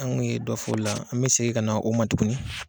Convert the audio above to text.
Anw kun ye dɔ fɔ o la , an bɛ segin ka na o ma tuguni.